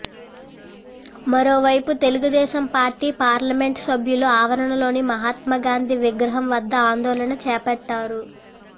మరోవైపు Telugu Desam party parliament సభ్యులు ఆవరణలోని మహాత్మా గాంధీ విగ్రహం వద్ద ఆందోళన చేపట్టారు